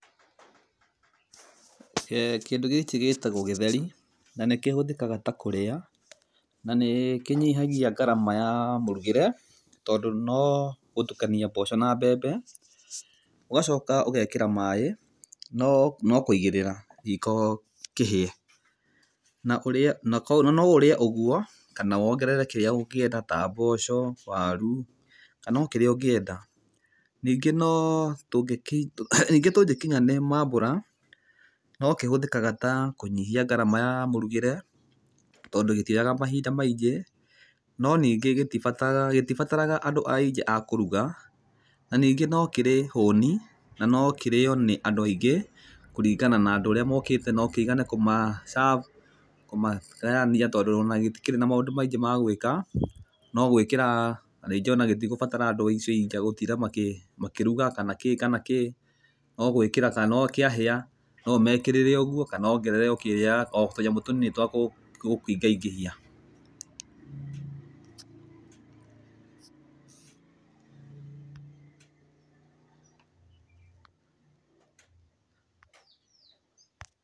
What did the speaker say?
Kindũ gĩkĩ gĩtagwo gĩtheri na nĩ kĩhũthĩkaga ta kũrĩa na nĩ kĩnyihagia ngarama ya mũrugĩre tondũ no gũtukania mboco na mbembe ũgacoka ũgekĩra maĩ no kũigĩrĩra riko kĩhĩe. Na no ũrĩe ũguo kana wongerere kĩrĩa ũngĩenda ta mboco waru kana o kĩrĩa ũngĩenda. Ningĩ tũngĩkinya nĩ mambura no kĩhũthĩkaga ta kũnyihia ngarama ya mũrugĩre tondũ gĩtioyaga mahinda maingĩ, no ningĩ gĩtibataraga andũ ingĩ a kũruga, na ningĩ no kĩrĩ hũni. Na no kĩrĩo nĩ andũ aingĩ kũringana na andũ ũrĩ mokĩte no kĩigane kũmacabu, kũmagayania tondũ ona gĩtikĩrĩ na maũndũ maingĩ ma gwĩka. No gwĩkĩra na ningĩ ona gĩtigũbatara andũ acio aingĩ a gũtinda makĩruga kana kĩĩ kana kĩĩ. No gwĩkĩra kana o kĩahĩa no ũmekĩrĩre ũguo kana wongerere o kĩrĩa kana o tũnyamũ tũnini twa gũkĩingaingĩhia.